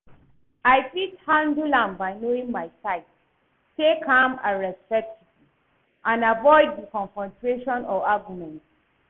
I fit handle am by knowing my rights, stay calm and respectful and avoid di confrontation or argument.